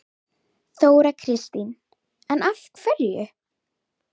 Hvað skal kjósa?